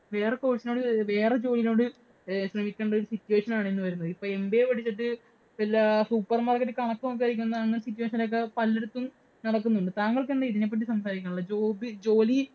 വേറെ course ഇനോട്, വേറെ ജോലീനോട് ശ്രമിക്കേണ്ട ഒരു situation ആണ് ഇന്ന് വരുന്നത്. ഇപ്പോ MBA പഠിച്ചിട്ട് വല്ല supermarket ഇലും കണക്ക് നോക്കാൻ ഇരിക്കുന്ന situation ഒക്കെ പലടത്തും നടക്കുന്നുണ്ട്. താങ്കൾക്ക് എന്താ ഇതിനെ പറ്റി സംസാരിക്കാന്‍ ഉള്ളത്? Job ജോലി